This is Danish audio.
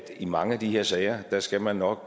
i mange af de her sager skal man nok